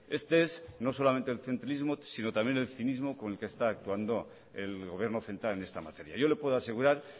este es no solamente el centrilismo sino también el cinismo con el que están actuando el gobierno central en esta materia yo le puedo asegurar